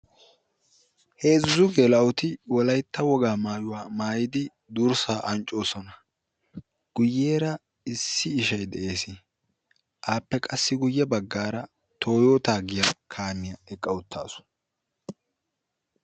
heezzu gela''oti wolaytta woagaa maayuwaa maayidi durssa anccoosona, guyyeera issi ishay dees, appe guyye baggaara toyota giyaa kaamiya eqqa uttaasu.